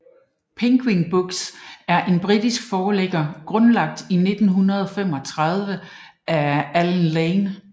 Penguin Books er en britisk forlægger grundlagt i 1935 af Allen Lane